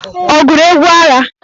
Ọ gụrụ egwu agha?